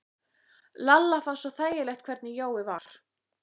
Lalla fannst svo þægilegt hvernig Jói var.